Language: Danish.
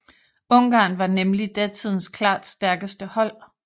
Ungarn var nemlig datidens klart stærkeste hold